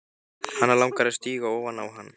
Hana langar að stíga ofan á hann.